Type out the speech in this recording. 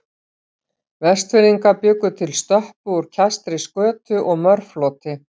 Vestfirðingar bjuggu til stöppu úr kæstri skötu og mörfloti.